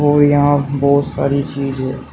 और यहां बहोत सारी चीज है।